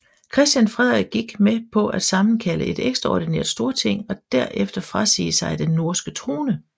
Christian Frederik gik med på at sammenkalde et ekstraordinært Storting og derefter frasige sig den norske trone